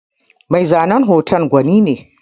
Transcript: Mai zanen hoton gwani ne.